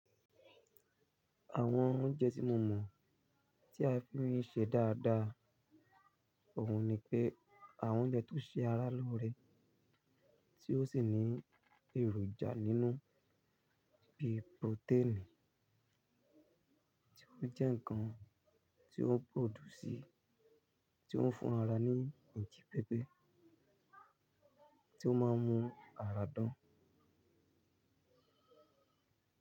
Àwọn oúnjẹ tí mo mọ̀ tí a fi ń ṣe dáadáa ọ̀hún ni pé àwọn oúnjẹ tó ṣe ara lóore, tí ó sì ní èròjà nínú bíi protein, tí ó ń jẹ́ ǹkan tí ó ń produsí, tí ó ń fún ara ní ijí pẹpẹ, tí ó máa ń mú ara dán.